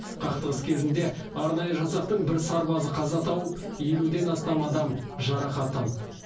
қақтығыс кезінде арнайы жасақтың бір сарбазы қаза тауып елуден астам адам жарақат алды